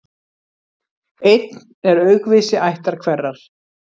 Einn er aukvisi ættar hverrar.